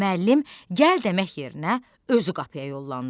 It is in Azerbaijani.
Müəllim gəl demək yerinə özü qapıya yollandı.